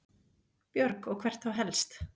Björg: Og hvert þá helst?